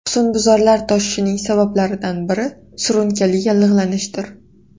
Husnbuzarlar toshishining sabablaridan biri surunkali yallig‘lanishdir.